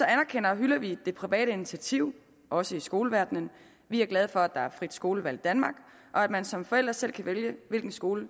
anerkender og hylder vi det private initiativ også i skoleverdenen vi er glade for at der er frit skolevalg i danmark og at man som forældre selv kan vælge hvilken skole